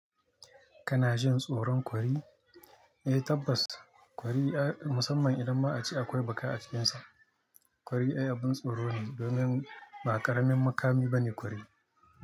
Kana jin tsoron kwari? Eh tabbas kwari musamman idan ma ace akwai baka a cikinsa. Kwari ai abin tsoro ne domin ba ƙaramin makami ba ne ƙwarai.